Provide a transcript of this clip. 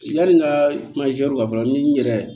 Yani n ka fɔlɔ ni n yɛrɛ